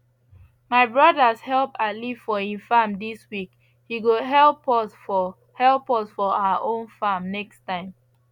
my brothers help ali for he farm this week he go help us for help us for our own farm next time